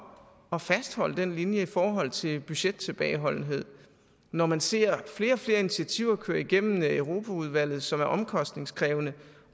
at fastholde den linje i forhold til budgettilbageholdenhed når man ser flere og flere initiativer køre igennem europaudvalget som er omkostningskrævende